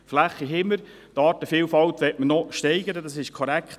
Die Fläche haben wir, die Artenvielfalt möchte man noch steigern – das ist korrekt.